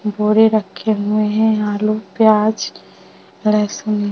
bore रखे हुए है आलू प्याज लहसुन --